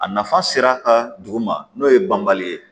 A nafa sera a ka dugu ma n'o ye banbali ye